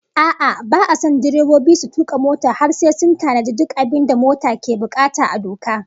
A'a, ba'a son direbobi su tuka mota har sai sun tanaji duk abin da mota ke bukata a doka